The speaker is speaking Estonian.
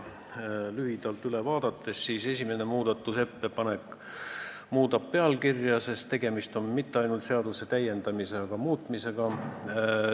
Kui lühidalt üle vaadata, siis esimene muudatusettepanek muudab pealkirja, sest tegemist ei ole mitte ainult seaduse täiendamisega, vaid ka muutmisega.